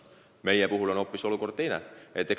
Meie puhul on olukord hoopis teine.